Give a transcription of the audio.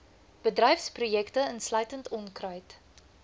bedryfsprojekte insluitende onkruid